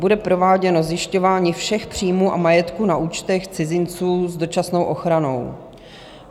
Bude prováděno zjišťování všech příjmů a majetku na účtech cizinců s dočasnou ochranou.